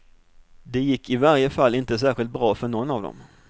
Det gick i varje fall inte särskilt bra för någon av dem.